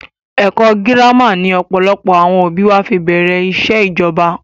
Ẹkọ girama ni ọ̀pọ̀lọpọ̀ àwọn òbí wa fi bẹ̀rẹ̀ ìṣẹ́ ìjọba